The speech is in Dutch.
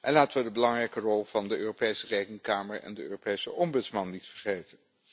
En laten we de belangrijke rol van de Europese Rekenkamer en de Europese Ombudsman niet vergeten.